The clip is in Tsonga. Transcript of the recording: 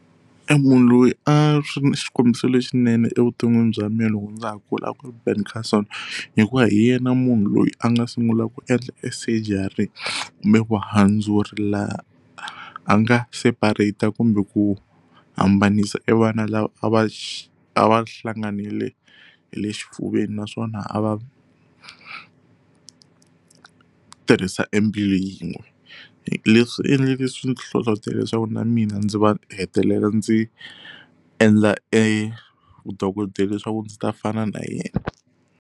Emunhu loyi a ri xikombiso lexinene evuton'wini bya mina loko ndza ha kula a ku ri Ben Carson hikuva hi yena munhu loyi a nga sungula ku endla e surgery kumbe vuhandzuri laha a nga separate-a kumbe ku hambanisa e vana lava a va a va hlanganile hi le xifuveni naswona a va tirhisa embilu yin'we leswi swi endleke swi ni hlohlotela leswaku na mina ndzi va hetelela ndzi endla e vudokodela leswaku ndzi ta fana na yena.